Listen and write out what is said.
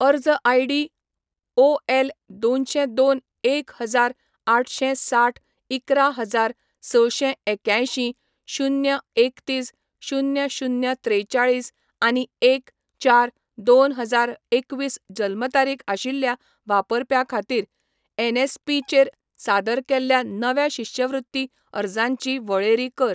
अर्ज I D O L दोनशें दोन एक हजार आठशें साठ इकरा हजार सशें एक्यांयशीं शुन्य एकतीस शुन्य शुन्य त्रेचाळीस आनी एक, चार, दोन हजार एकवीस जल्म तारीख आशिल्ल्या वापरप्या खातीर एनएसपी चेर सादर केल्ल्या नव्या शिश्यवृत्ती अर्जांची वळेरी कर